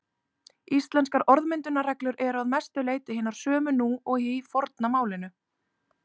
Íslenskar orðmyndunarreglur eru að mestu leyti hinar sömu nú og í forna málinu.